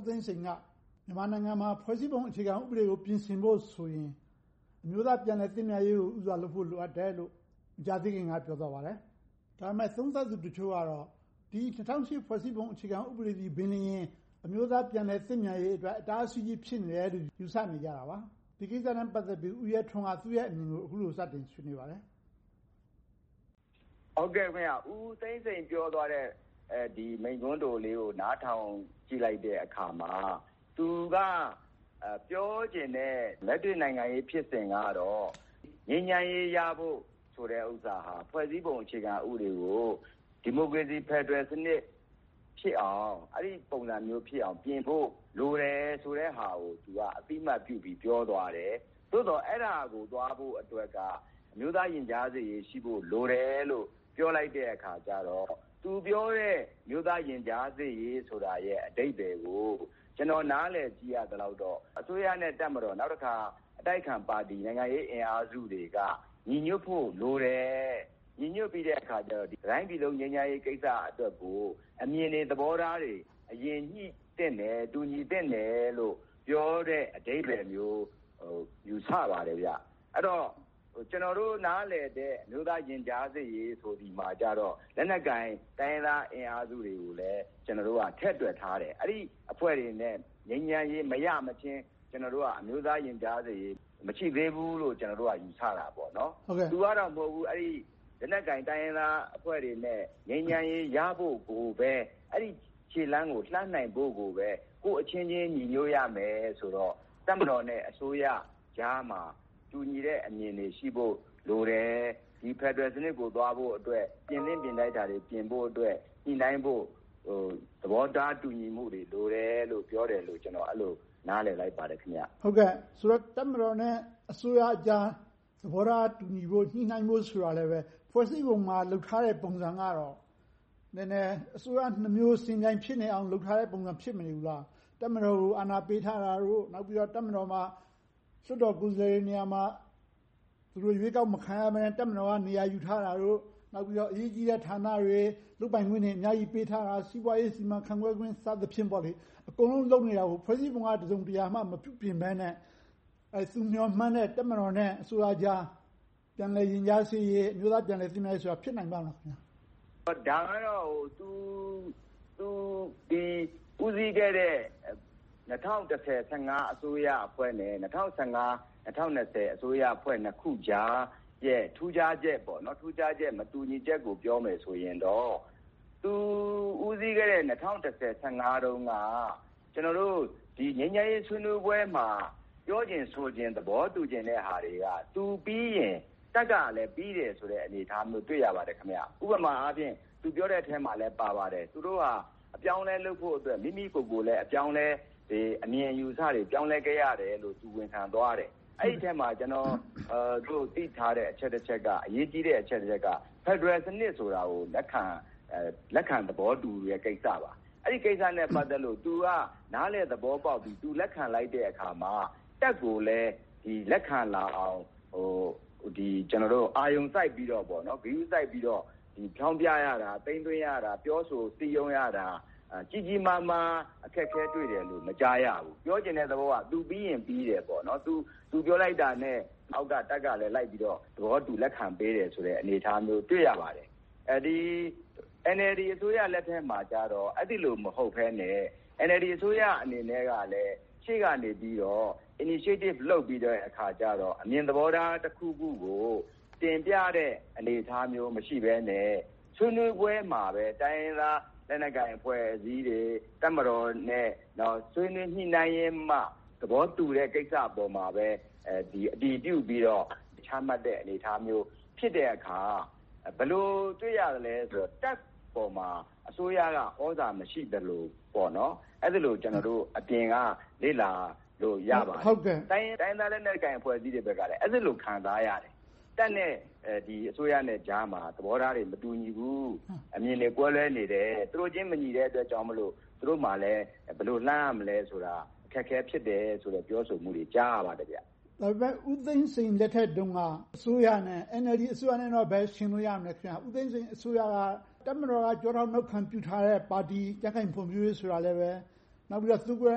းသိန်းစိန်က မြန်မာနိုင်ငံမှာ ဖွဲ့စည်းပုံဥပဒေကို ပြင်ဆင်ဖို့ဆိုရင် အမျိုးသားပြန်လည်သင့်မြတ်ရေးကို ဦးစွာလုပ်ဖို့ လိုအပ်တယ်တယ်လို့ မကြာသေးခင်က ပြောဆိုသွားပါတယ်။ ဒါပေမဲ့ သုံးသပ်သူတချို့ကတော့ ၂၀၀၈ ဖွဲ့စည်းပုံအခြေခံဥပဒေသည်လျှင်ပင် အမျိုးသားပြန်လည်သင့်မြတ်ရေးအတွက် အတားအဆီးကြီး ဖြစ်နေတယ်လို့ ယူဆနေကြပါတယ်။ ဒီကိစ္စနဲ့ ပတ်သက်ပြီး ဦးရဲထွန်းက သူ့အမြင်ကို အခုလိုစတင်ဆွေးနွေးပါတယ်။ ဦးသိန်းစိန်ပြောသွားတဲ့ မိန့်ခွန်းတိုလေးကို နားထောင်ကြည့်လိုက်တဲ့အခါမှာ သူက ပြောချင်တဲ့ လက်တွေ့နိုင်ငံရေးဖြစ်စဉ်ကတော့ ငြိမ်းချမ်းရေးရဖို့ဆိုတဲ့ဟာက ဖွဲ့စည်းပုံအခြေခံဥပဒေကို ဒီမိုကရေစီဖယ်ဒရယ်စနစ်ဖြစ်အောင် အဲဒီပုံစံမျိုးဖြစ်အောင်ပြင်ဖို့ လိုတယ်ဆိုတဲ့ဟာကို အသိအမှတ်ပြုပြီး ပြောသွားတယ်။ သို့သော် အဲဒါကို သွားဖို့အတွက်က အမျိုးသားရင်ကြားစေ့ရေး ရှိဖို့လိုတယ်လို့ ပြောလိုက်တဲ့အခါကြတော့ သူပြောတဲ့ အမျိုးသားရင်ကြားစေ့ရေးဆိုတဲ့ အဓိပ္ပါယ်ကို ကျနော် နားလည်သိရသလောက်တော့ အစိုးရနဲ့ တပ်မတော်။ နောက်တခါ အတိုက်အခံ နိုင်ငံရေးအင်အားစုတွေက ညီညွှတ်ဖို့လိုတယ်။ ညီညွှတ်ပြီးတဲ့အခါ တတိုင်းပြည်လုံး ငြိမ်းချမ်းရေးကိစ္စအတွက်ကို အမြင်တွေ၊ သဘောထားတွေ အရင်ညှိသင့်တယ်။ တူညီသင့်တယ်လို့ ပြောတဲ့အဓိပ္ပါယ်မျိုး ယူဆပါတယ်။ အဲဒီတော့ ကျနော်တို့ နားလည်တဲ့ အမျိုးသားရင်ကြားစေ့ရေးဆိုသည်မှာ တိုင်းရင်းသား လက်နက်ကိုင်အင်အားစုတွေကိုလည်း ထည့်တွက်ထားတယ်။ အဲဒီအဖွဲ့တွေနဲ့ ငြိမ်းချမ်းရေးမရမချင်း၊ ကျနော်တို့က အမျိုးသားရင်ကြားစေ့ရေး မရှိသေးဘူးလို့ ကျနော်တို့က ယူဆကြတယ်။ သူကတော့ အဲဒီလိုမဟုတ်ဘူး။ လက်နက်ကိုင် တိုင်းရင်းသားအင်အားစုတွေနဲ့ ငြိမ်းချမ်းရေးရဖို့ကိုပဲ၊ အဲဒီခြေလှမ်းကို လှမ်းနိုင်ဖို့ကိုပဲ ကိုယ့်အချင်းချင်း ညီညွှတ်ရမယ်ဆိုတော့ တပ်မတော်နဲ့ အစိုးရကြားမှာ တူညီတဲ့အမြင်တွေ ရှိဖို့လိုတယ်။ ဖယ်ဒရယ်စနစ်ကို သွားဖို့အတွက် ပြင်သင့်ပြင်ထိုက်တာတွေ ပြင်ဖို့အတွက် ညှိနှိုင်းဖို့ သဘောထားတူညီမှုတွေ လိုတယ်လို့ ပြောသွားတယ်လို့ ကျနော် အဲဒီလိုနားလည်လိုက်ပါတယ်။ ဆိုတော့ တပ်မတော်နဲ့ အစိုးရကြား သဘောထားတူညီဖို့၊ ညှိနှိုင်းဖို့ဆိုတာကလဲ ဖွဲ့စည်းပုံမှာ လုပ်ထားတဲ့ ပုံစံကတော့ နည်းနည်းအစိုးရနှစ်မျိုး ယှဉ်ပြိုင်ဖြစ်နေတဲ့ ပုံစံ ဖြစ်မနေဘူးလား။ တပ်မတော်ကို အာဏာပေးထားတာတို့၊ နောက်ပြီးတော့ တပ်မတော်မှာ လွှတ်တော်ကိုယ်စားလှယ်တွေ နေရာမှာ ရွေးကောက်မခံရဘဲနဲ့ တပ်မတော်က နေရာယူထားတာတို့၊ နောက်ပြီးတော့ အရေးကြီးတဲ့ဌာနတွေ၊ လုပ်ပိုင်ခွင့်တွေ အများကြီးပေးထားတာ၊ စီးပွားရေး စီမံခန့်ခွဲခွင့် စသည်ဖြင့် အကုန်လုံးလုပ်နေတာကို ဖွဲ့စည်းပုံက တစုံတရာမှ မပြုပြင်ဘဲနဲ့ သူမျှော်မှန်းတဲ့ တပ်မတော်နဲ့ အစိုးရကြား ပြန်လည်ရင်ကြားစေ့ရေး၊ အမျိုးသားပြန်လည်သင့်မြတ်ရေးတို့ဆိုတာ ဖြစ်နိုင်ပါ့မလား။ ဒါကတော့ သူ ဦးစီးခဲ့တဲ့ ၂၀၁၀-၁၅ အစိုးရအဖွဲ့နဲ့ ၂၀၁၅-၂၀၂၀ အစိုးရအဖွဲ့ နှစ်ခုကြားရဲ့ ထူးခြားချက်၊ မတူညီချက်ကို ပြောမယ်ဆိုရင်တော့ သူ ဦးစီးခဲ့တဲ့ ၂၀၁၀-၁၅ တုန်းက ငြိမ်းချမ်းရေးဆွေးနွေးပွဲမှာ ပြောချင်ဆိုချင်၊ သဘောတူညီချင်တဲ့ဟာတွေက သူပြီးရင် တပ်ကလဲ ပြီးတဲ့ဆိုတဲ့ အနေအထားမျိုး တွေ့ရပါတယ်။ ဥပမာအားဖြင့် သူပြောတဲ့အထဲမှာလဲ ပါပါတယ်။ သူတို့ဟာ အပြောင်းအလဲလုပ်ဖို့အတွက် မိမိကိုယ်ကိုယ်လဲ အမြင်အယူအဆတွေ ပြောင်းလဲခဲ့ရတယ်လို့ သူ ဝန်ခံသွားတယ်။ အဲဒီအထဲမှာ ကျနော်တို့ သိထားတဲ့ အချက်တစ်ချက်ကတော့ အရေးကြီးတဲ့ အချက်တစ်ချက်ကတော့ ဖယ်ဒရယ်စနစ်ကို လက်ခံသဘောတူတဲ့ ကိစ္စပါ။ အဲဒီကိစ္စနဲ့ ပတ်သက်လို့ သူကနားလည်သဘောပေါက်ပြီး၊ လက်ခံလိုက်တဲ့အခါမှာ တပ်ကိုလည်း လက်ခံလာအောင်၊ အာရုံစိုက်ပြီးတော့ ဂရုစိုက်ပြီးတော့ ဖြောင်းဖြရတာ၊ သိမ်းသွင်းရတာ၊ ပြောဆိုရတာ၊ စည်းရုံးရတာ ကြီးကြီးမားမား အခက်အခဲတွေ့တယ်လို့ မကြားရဘူး။ ပြောချင်တဲ့သဘောက သူပြီးရင်ပြီတယ်။ သူပြောလိုက်တာနဲ့ အောက်က တပ်ကလည်း လိုက်ပြီးတော့ သဘောတူ လက်ခံပေးတယ်ဆိုတဲ့ အနေအထားမျိုးကို တွေ့ရပါတယ်။ NLD အစိုးရလက်ထက်မှာကြတော့ အဲဒီလိုမျိုး မဟုတ်ဘဲနဲ့ NLD အစိုးရအနေနဲ့ကလဲ ရှေ့ကနေပြီးတော့ Initiative လုပ်ပြီးတဲ့အခါကြတော့ အမြင်သဘောထားတစ်ခုခုကို တင်ပြတဲ့ အနေအထားမျိုး မရှိဘဲနဲ့၊ ဆွေးနွေးပွဲမှာပဲ တိုင်းရင်းသားလက်နက်ကိုင် အဖွဲ့အစည်းတွေ၊ တပ်မတော်နဲ့ ဆွေးနွေးညှိနှိုင်းရင်းမှ သဘောတူတဲ့ကိစ္စပေါ်မှာပဲ အတည်ပြုပြီးတော့ ချမှတ်တဲ့အနေအထားမျိုး ဖြစ်တဲ့အခါ၊ ဘယ်လိုတွေ့ရသလဲဆိုတော့ တပ်ပေါ်မှာ အစိုးရက သြဇာမရှိသလိုမျိုး အဲဒီလိုမျိုး ကျနောတို့ အပြင်က လေ့လာလို့ ရပါတယ်။ တိုင်းရင်းသားလက်နက်ကိုင် အဖွဲ့အစည်းတွေဘက်လည်း အဲဒီလို ခံစားရတယ်။ တပ်နဲ့ အစိုးရကြားမှာ သဘောထားတွေ မတူညီဘူး။ အမြင်တွေ ကွဲလွဲနေတယ်။ သူတို့ချင်း မညီတဲ့အတွက်ကြောင့်မို့ သူတို့မှာလည်း ဘယ်လိုလှမ်းရမလဲဆိုတာ အခက်အခဲ ဖြစ်တယ်ဆိုတဲ့ ပြောဆိုမှုတွေကို ကြားရပါတယ်။ ဒါပေမဲ့ ဦးသိန်းစိန်လက်ထက်တုန်းက အစိုးရနဲ့ NLD အစိုးရနဲ့တော့ ဘယ်ယှဉ်လို့ ရမလဲ။ ဦးသိန်းစိန်အစိုးရက တပ်မတော်က ကျောထောက်နောက်ခံပြုထားတဲ့ ပါတီ၊ ကြံ့ခိုင်ဖွံ့ဖြိုးရေးပါတီ ဆိုတာကလဲ၊ သူကိုယ်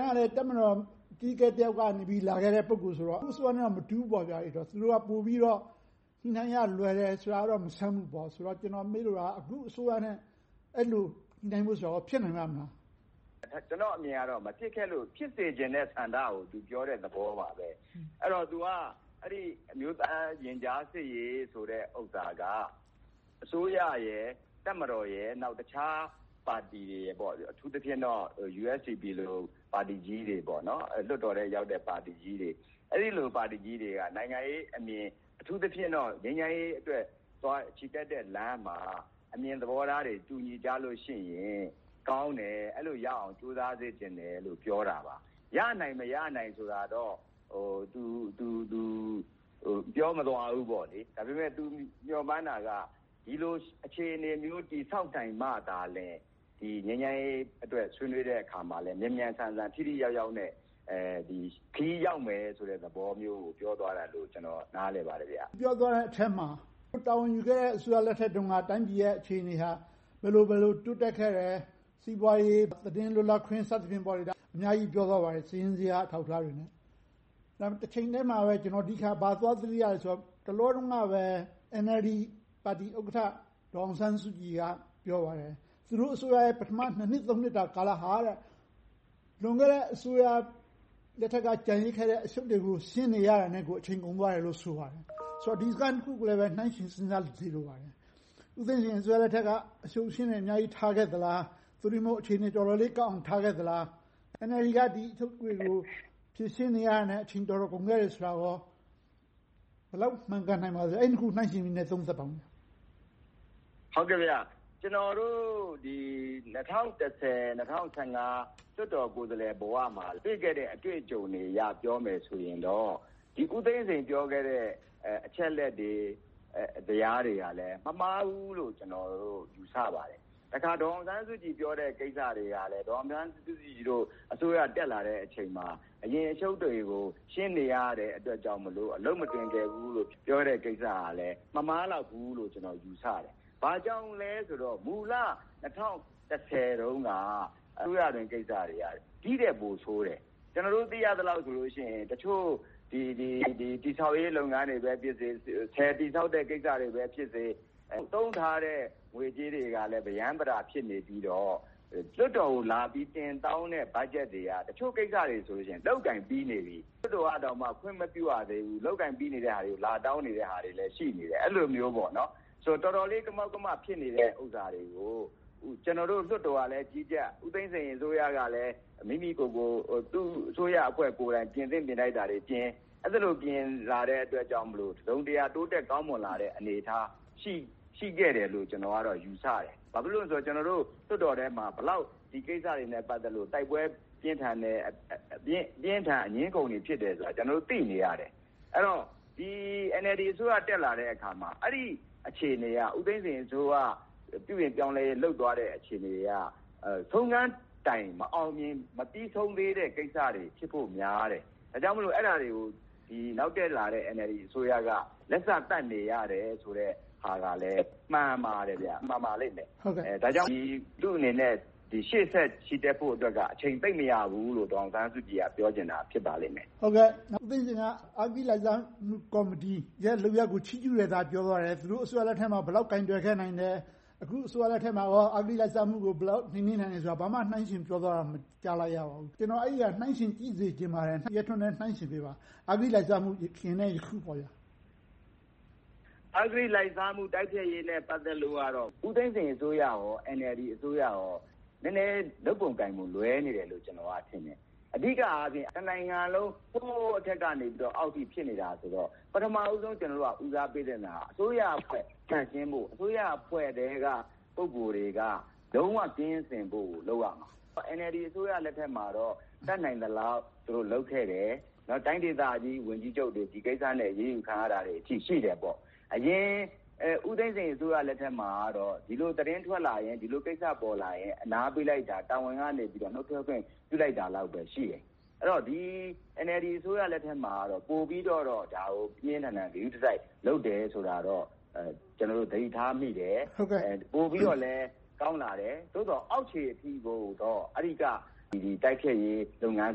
တိုင်ကလဲ တပ်မတော်အကြီးအကဲ တစ်ယောက်ကနေ လာခဲ့တဲ့ ပုဂ္ဂိုလ်ဆိုတော့ သူ့အစိုးရနဲ့ မတူဘူးပေါ့။ သူတို့က ပိုပြီးတော့ ညှိနှိုင်းရလွယ်တာ မဆန်းဘူးပေါ့။ ကျနော်မေးလိုတာက အခုအစိုးရနဲ့ အဲဒီလို ညှိနှိုင်းဖို့ဆိုတာ ဖြစ်နိုင်ပါ့မလား။ ကျနော်အမြင်ကတော့ မဖြစ်ခဲ့လို့ ဖြစ်စေချင်တဲ့ ဆန္ဒကို သူပြောတဲ့သဘောပါပဲ။ အဲဒီတော့ သူက အမျိုးသားရင်ကြားစေ့ရေးဆိုတဲ့ဟာက အစိုးရ၊ တပ်မတော်၊ တခြားပါတီတွေ၊ အထူးသဖြင့်တော့ USDP လို ပါတီကြီးတွေ၊ လွှတ်တော်ထဲရောက်တဲ့ ပါတီကြီးတွေ။ အဲဒီလို ပါတီကြီးတွေက နိုင်ငံရေးအမြင်၊ အထူးသဖြင့်တော့ ငြိမ်းချမ်းရေးအတွက် ချီတက်တဲ့လမ်းမှာ အမြင်သဘောထားတွေ၊ မတူညီကြလို့ရှိရင် ကောင်းတယ်။ အဲဒီလိုရအောင် ကြိုးစားစေချင်တယ်လို့ ပြောတာပါ။ ရနိုင်၊ မရနိုင်ဆိုတာတော့ သူ ပြောမသွားဘူး။ ဒါပေမဲ့ သူမျှော်မှန်းတာက ဒီလိုအခြေအနေမျိုး တည်ဆောက်နိုင်မှသာလျှင် ငြိမ်းချမ်းရေးအတွက် ဆွေးနွေးတဲ့အခါမှာ မြန်မြန်ဆန်ဆန် ထိထိရောက်ရောက်နဲ့ ခရီးရောက်မယ်ဆိုတဲ့ သဘောမျိုးကို ပြောသွားတယ်လို့ ကျနော် နားလည်ပါတယ်။ ပြောသွားတဲ့အထဲမှာ သူတာဝန်ယူခဲ့တဲ့ အစိုးရလက်ထက်တုန်းက တိုင်းပြည်ရဲ့ အခြေအနေဟာ ဘယ်လိုဘယ်လို တိုးတက်ခဲ့တယ်။ စီးပွားရေး၊ သတင်းလွတ်လပ်ခွင့် စသည်ဖြင့် အများကြီးပြောသွားပါတယ်။ စာရင်းဇယား အထောက်အထားတွေနဲ့။ တချိန်တည်းမှာပဲ ကျနော် ဘာကိုသွားသတိရသလဲဆိုတော့ တလောတုန်းကပဲ NLD ပါတီဥက္ကဋ္ဌ ဒေါ်အောင်ဆန်းစုကြည်က ပြောသွားတယ်၊ သူတို့အစိုးရရဲ့ ပထမ နှစ်၊ နှစ်တာ ကာလဟာ လွန်ခဲ့တဲ့ အစိုးရလက်ထက်က ကျန်ရစ်ခဲ့တဲ့ အရှုပ်တွေကို ရှင်းနေရတာနဲ့ကို အချိန်ကုန်သွားတယ်လို့ ဆိုပါတယ်။ ဆိုတော့ ဒီစကားနှစ်ခုကိုလည်း နှိုင်းယှဉ်စဉ်းစားကြည့်စေလိုပါတယ်။ ဦးသိန်းစိန်အစိုးရလက်ထက်က အရှုပ်အရှင်းတွေ အများကြီးထားခဲ့သလား။ သို့တည်းမဟုတ် အခြေအနေတွေ တော်တော်လေးကောင်းအောင် ထားခဲ့သလား။ NLD က ဒီအရှုပ်တွေကို ဖြေရှင်းနေရတာနဲ့ အချိန်တော်တော်လေး ကုန်ခဲ့တယ်ဆိုတာ ဘယ်လောက်မှန်ကန်နိုင်ပါသလဲ။ အဲဒီနှစ်ခုကို နှိုင်းယှဉ်ပြီးတော့ သုံးသပ်ပါအုံး။ ကျနော်တို့ ၂၀၁၀-၂၀၁၅ လွှတ်တော်ကိုယ်စားလှယ်ဘဝမှာ တွေ့ခဲ့တဲ့ အတွေ့အကြုံတွေအရ ပြောမယ်ဆိုရင်တော့ ဦးသိန်းစိန်ပြောခဲ့တဲ့ အချက်အလက်တွေ၊ ဇယားတွေကလည်း မမှားဘူးလို့ ကျနော်တို့ ယူဆပါတယ်။ တစ်ခါ ဒေါ်အောင်ဆန်းစုကြည် ပြောတဲ့ကိစ္စတွေကလဲ ဒေါ်အောင်ဆန်းစုကြည်တို့ အစိုးရတက်လာတဲ့အချိန်မှာ အရင်အရှုပ်တွေကို ရှင်းနေရတယ်အတွက်ကြောင့်မို့ အလုပ်မတွင်ကျယ်ဘူးလို့ ပြောတဲ့ဟာကလဲ မမှားလောက်ဘူးလို့ ကျနော် ယူဆပါတယ်။ ဘာကြောင့်လဲဆိုတော့ မူလ ၂၀၁၀ တုန်းက အစိုးရတွင်းကိစ္စတွေက ဒီထက်ပိုဆိုးတယ်။ ကျနော်တို့ သိရသလောက်တော့ဆိုရင် တချို့တည်ဆောက်ရေး လုပ်ငန်းတွေပဲဖြစ်စေ၊ ဆည်တည်ဆောက်တဲ့ လုပ်ငန်းကိစ္စတွေပဲဖြစ်စေ၊ သုံးထားတဲ့ ငွေကြေးတွေကလဲ ပရမ်းပတာ ဖြစ်နေပြီးတော့ လွှွတ်တော်ကိုလာပြီး တင်တောင်းတဲ့ ဘတ်ဂျက်တွေက တချို့ကိစ္စတွေဆိုရင် လုပ်ကိုင်ပြီးနေပြီ၊ လွှတ်တော်ကတောင် ခွင့်မပြုရသေးဘူး လုပ်ကိုင်ပြီးနေတာတွေကို လာတောင်းနေတာတွေလည်း ရှိနေတယ်။ အဲဒီလိုမျိုး။ တော်တော်လေး ကမောက်ကမ ဖြစ်နေတဲ့ ကိစ္စတွေကို ကျနော်တို့ လွှတ်တော်ကလည်း ကြီးကြပ်၊ ဦးသိန်းစိန်အစိုးရကလည်း မိမိကိုယ်ကိုယ် အစိုးရအဖွဲ့ကိုယ်တိုင် ပြင်သင့်ပြင်ထိုက်တာတွေ ပြင်လာတဲ့အတွက်ကြောင့်မို့ တစုံတရာ တိုးတက်ကောင်းမွန်လာတဲ့ အနေအထား၊ ရှိခဲ့တယ်လို့ ကျနော်ကတော့ ယူဆတယ်။ ဘာဖြစ်လို့လဲဆိုတော့ ကျနော်တို့ လွှတ်တော်ထဲမှာ ဒီကိစ္စတွေနဲ့ ပတ်သက်လို့ တိုက်ပွဲတွေ ပြင်းထန်တယ်။ အပြင်းအထန် အငြင်းအခုန်တွေ ဖြစ်တယ်ဆိုတာ ကျနော်တို့ သိနေရတယ်။ အဲဒီတော့ NLD အစိုးရ တက်လာတဲ့အခါမှာ အဲဒီအခြေအနေက ဦးသိန်းစိန်အစိုးရ ပြုပြင်ပြောင်းလဲရေး လုပ်သွားတဲ့ အခြေအနေက ဆုံးခန်းတိုင်း မအောင်မြင်၊ မပြီဆုံးသေးတဲ့ကိစ္စတွေ ဖြစ်ဖို့များတယ်။ ဒါကြောင့်မို့ အဲဒါတွေကို နောက်တက်လာတဲ့ NLD အစိုးရက လက်စသတ်နေရတယ်ဆိုတဲ့ဟာကလဲ မှန်ပါတယ်။ မှန်ပါလိမ့်မယ်။ ဒါကြောင့် သူ့အနေနဲ့ ရှေ့ဆက်ချီတက်ဖို့က အချိန်သိပ်မရဘူးလို့ ဒေါ်အောင်ဆန်းစုကြည်က ပြောချင်တာ ဖြစ်ပါလိမ့်မယ်။ အဂတိလိုက်စားမှုလုပ်ရပ်ကို ချီးကျူးတာ ပြောသွားတယ်။ သူတို့အစိုးရလက်ထက်မှာ ဘယ်လောက်ကိုင်တွယ်နိုင်ခဲ့တယ်။ အခုအစိုးရလက်ထက်မှာ အဂတိလိုက်စားမှု ဘယ်လောက်နှိမ်နှင်းနိုင်တယ်ဆိုတာကို ဘာမှနှိုင်းယှဉ်ပြောသွားတာကို မကြားလိုက်ရဘူး။ ကျနော်က အဲဒါကို နှိုင်းယှဉ်ကြည့်စေချင်ပါတယ်။ ဦးရဲထွန်းလည်း နှိုင်းယှဉ်ပေးပါ။ အဂတိလိုက်စားမှု ယခင်နဲ့ အခုပေါ့။ အဂတိလိုက်စားမှုနဲ့ ပတ်သက်ပြီးတော့ ဦးသိန်းစိန်အစိုးရနဲ့ NLD အစိုးရတို့ နည်းနည်းလုပ်ပုံကိုင်ပုံ လွဲမှားနေတယ်လို့ ကျနော်က ထင်တယ်။ အဓိကအားဖြင့် တနိုင်ငံလုံး အထက်ကနေ အောက်အထိ ဖြစ်နေတာဆိုတော့ ပထမဦးဆုံး ကျနော်တို့ ဦးစားပေးသင့်တာက အစိုးရအဖွဲ့ သန့်ရှင်းဖို့၊ အစိုးရအဖွဲ့အတွင်းက ပုဂ္ဂိုလ်တွေက လုံးဝအဂတိကင်းစင်ဖို့ကို လုပ်ရမှာ။ NLD အစိုးရလက်ထက်မှာတော့ တတ်နိုင်သလောက် သူတို့လုပ်ခဲ့တယ်။ တိုင်းဒေသကြီး ဝန်ကြီးချုပ်တွေ ဒီကိစ္စနဲ့ အရေးယူခံရတာတွေ ရှိတယ်။ အရင် ဦးသိန်းစိန်အစိုးရလက်ထက်မှာတော့ ဒီလိုသတင်းထွက်လာရင်၊ ဒီလိုကိစ္စပေါ်လာရင် အနားပေးလိုက်တာ၊ တာဝန်ကနေ နှုတ်ထွက်ခွင့် ပြုလိုက်တာလောက်ပဲ ရှိခဲ့တယ်။ NLD အစိုးရလက်ထက်မှာတော့ ပိုပြီးတော့ ဒါကို ပြင်းပြင်းထန်ထန် ဂရုတစိုက် လုပ်တယ်ဆိုတာတော့ ကျနော်တို့ သတိထားမိတယ်။ ပိုပြီးတော့လည်း ကောင်းလာတယ်။ သို့သော် အောက်ခြေအထိကိုတော့ အဂတိတိုက်ဖျက်ရေး လုပ်ငန်း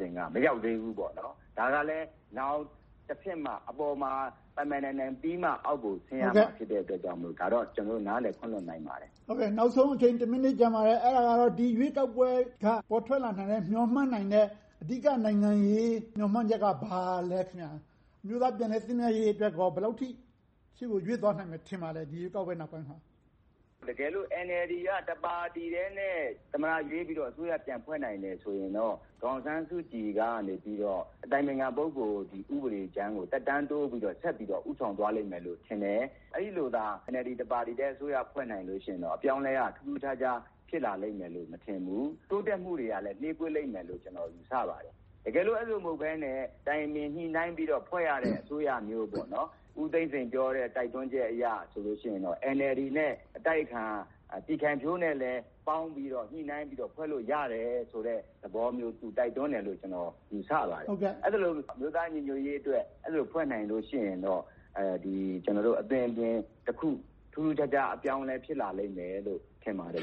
စဉ်က မရောက်သေးဘူးပေါ့။ ဒါကလဲ နောင်တဆင့်မှ အပေါ်မှာ ပိုင်ပိုင်နိုင်နိုင်ပြီးမှ အောက်ကို ဆင်းရမှာ ဖြစ်တဲ့အတွက်ကြောင့်မို့ ဒါကိုတော့ ကျနော်တို့ နားလည်ခွင့်လွှတ်နိုင်ပါတယ်။ နောက်ဆုံးအချိန် တစ်မိနစ်ကျန်ပါတယ်။ အဲဒါကတော့ ဒီရွေးကောက်ပွဲက ပေါ်ထွက်လာမယ့် မျှော်မှန်းနိုင်မယ့် အဓိက နိုင်ငံရေး မျှော်မှန်းချက်က ဘာလဲ။ အမျိုးသားပြန်လည်သင့်မြတ်ရေးအတွက် ဘယ်လောက်အထိ ရှေ့ကိုရွေ့သွားနိုင်မယ် ထင်ပါသလဲ။ တကယ်လို့ NLD က တစ်ပါတီထဲနဲ့ သမ္မတရွေးပြီးတော့ အစိုးရပြန်လည်ဖွဲ့နိုင်တယ် ဆိုရင်တော့ ဒေါ်အောင်ဆန်းစုကြည်ကနေ အတိုင်ပင်ခံ ပုဂ္ဂိုလ် ဥပဒေကြမ်းကို သက်တမ်းတိုးပြီးတော့၊ ဆက်ပြီးတော့ ဦးဆောင်သွားလိမ့်မယ်လို့ ထင်တယ်။ အဲဒီလို NLD ပါတီတစ်ခုတည်း အစိုးရ ဖွဲ့နိုင်မယ်ဆိုရင်တော့ အပြောင်းအလဲက ထူးထူးခြားခြား ဖြစ်လာလိမ့်မယ်လို့ မထင်ဘူး။ တိုးတက်မှုတွေကလဲ နှေးကွေးလိမ့်မယ်လို့ ကျနော် ယူဆပါတယ်။ တကယ်လို့ အဲဒီလို မဟုတ်ဘဲနဲ့ တိုင်ပင်ညှိနှိုင်းပြီးတော့ ဖွဲ့ရတဲ့ အစိုးရမျိုး၊ ဦးသိန်းစိန်ပြောတဲ့ တိုက်တွန်းချက်အရဆိုရင်တော့ NLD နဲ့ အတိုက်အခံ ပြည်ခိုင်ဖြိုးတို့ ပေါင်းပြီးတော့ ညှိနှိုင်းပြီးတော့ ဖွဲ့လို့ရတယ်ဆိုတဲ့ သဘောမျိုး သူတိုက်တွန်းတယ်လို့ ကျနော် ယူဆပါတယ်။ အဲဒီလို အမျိုးသားညီညွှတ်ရေးအတွက် ဖွဲ့နိုင်တယ်ဆိုရင်တော့ အသွင်အပြင်တစ်ခု ထူးထူးခြားခြား အပြောင်းအလဲတစ်ခု ဖြစ်လာလိမ့်မယ်လို့ ထင်ပါတယ်။